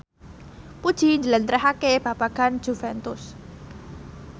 Puji njlentrehake babagan Juventus